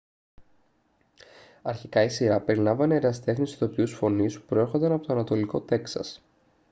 αρχικά η σειρά περιλάμβανε ερασιτέχνες ηθοποιούς φωνής που προέρχονταν από το ανατολικό τέξας